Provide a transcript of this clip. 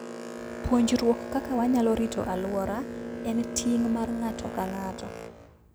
Puonjruok kaka wanyalo rito alworawa en ting' mar ng'ato ka ng'ato.